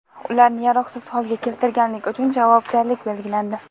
ularni yaroqsiz holga keltirganlik uchun javobgarlik belgilandi.